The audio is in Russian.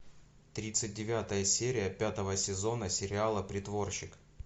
тридцать девятая серия пятого сезона сериала притворщик